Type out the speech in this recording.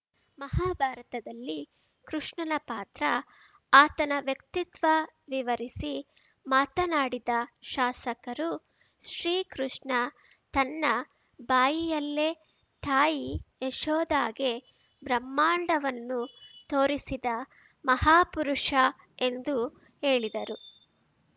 ಮಹಾಭಾರತದಲ್ಲಿ ಕೃಷ್ಣನ ಪಾತ್ರ ಆತನ ವ್ಯಕ್ತಿತ್ವ ವಿವರಿಸಿ ಮಾತನಾಡಿದ ಶಾಸಕರು ಶ್ರೀಕೃಷ್ಣ ತನ್ನ ಬಾಯಿಯಲ್ಲೇ ತಾಯಿ ಯಶೋದಾಗೆ ಬ್ರಹ್ಮಾಂಡವನ್ನು ತೋರಿಸಿದ ಮಹಾ ಪುರುಷ ಎಂದು ಹೇಳಿದರು